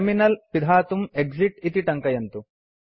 terminal पिधातुं exit इति टङ्कयन्तु